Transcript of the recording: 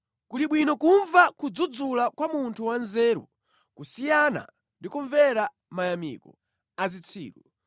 Kuli bwino kumva kudzudzula kwa munthu wanzeru kusiyana ndi kumvera mayamiko a zitsiru.